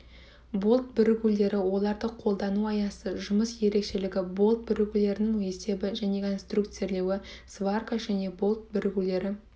болт бірігулері оларды қолдану аясы жұмыс ерекшелігі болт бірігулерінің есебі және конструкцирлеуі сварка және болт бірігулері